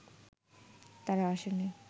তারা আসেনি